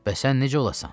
Bəs sən necə olasan?